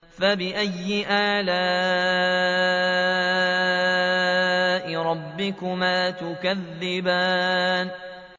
فَبِأَيِّ آلَاءِ رَبِّكُمَا تُكَذِّبَانِ